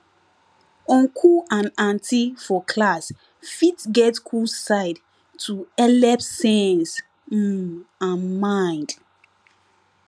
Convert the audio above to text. uncle and auntie for class fit get cool side to helep sense um and mind